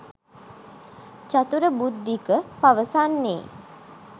චතුර බුද්ධික පවසන්නේ.